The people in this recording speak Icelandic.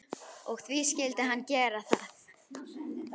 Og því skyldi hann gera það.